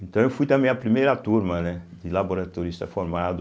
Então eu fui também a primeira turma, né de laboratorista formado